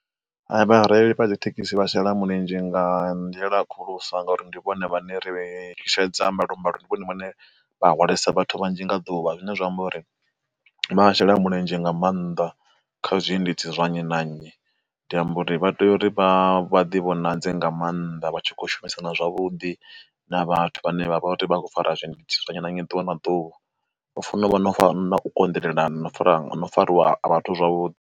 Vhareili vha thekhisi vha shela mulenzhe nga nḓila khulusa ngauri ndi vhone vhane ri shushedza mbalombalo ndi vhone vhane vha hodalesa vhathu vhanzhi nga ḓuvha, zwine zwa amba uri vha shela mulenzhe nga maanḓa kha zwiendedzi zwa nnyi na nnyi. Ndi amba uri vha tea uri vha vha divhonadze nga maanḓa vha tshi kho shumisana zwavhuḓi na vhathu vhane vha vha vha khou fara zwiendedzi zwa nnyi na nnyi ḓuvha na ḓuvha vha fano u vha na u konḓelelana no fara no fariwa ha vhathu zwavhuḓi.